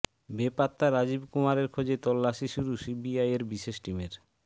বেপাত্তা রাজীব কুমারের খোঁজে তল্লাশি শুরু সিবিআইয়ের বিশেষ টিমের